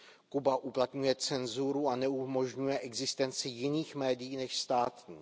Kuba uplatňuje cenzuru a neumožňuje existenci jiných médií než státních.